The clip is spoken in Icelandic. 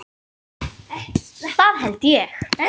Það held ég